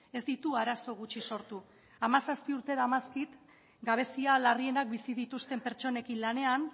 ez ditu arazo gutxi sortu hamazazpi urte daramazkit gabezia larrienak bizi dituzten pertsonekin lanean